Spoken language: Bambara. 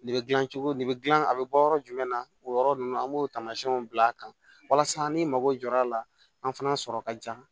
Nin bɛ dilan cogo nin bɛ dilan a bɛ bɔ yɔrɔ jumɛn na o yɔrɔ ninnu an b'o taamasiyɛnw bila a kan walasa n'i mago jɔra a la an fana sɔrɔ ka jan